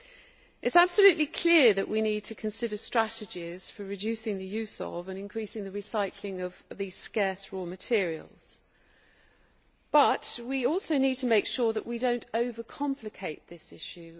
It is absolutely clear that we need to consider strategies for reducing the use of, and increasing the recycling of, these scarce raw materials, but we also need to make sure that we do not over complicate the issue.